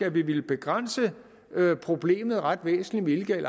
at vi ville begrænse problemet ret væsentligt